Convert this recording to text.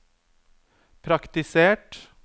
praktisert